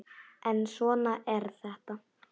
En svona er þetta.